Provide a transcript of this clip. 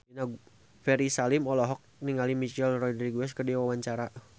Ferry Salim olohok ningali Michelle Rodriguez keur diwawancara